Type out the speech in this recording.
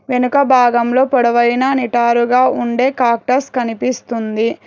వెనుక భాగంలో పొడవైన నిటారుగా ఉండే కాక్టర్స్ కనిపిస్తుంది.